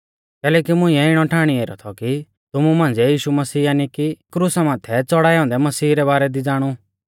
कैलैकि मुंइऐ इणौ ठाणी ऐरौ थौ कि तुमु मांझ़िऐ यीशु मसीह यानी कि क्रुसा माथै च़ौड़ाऐ औन्दै मसीह रै बारै दी ई ज़ाणु